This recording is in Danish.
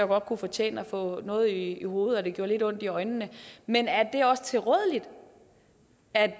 godt kunne fortjene at få noget i hovedet og at det gjorde lidt ondt i øjnene men er det også tilrådeligt at